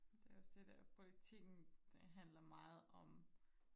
det er også det at politikken det handler meget om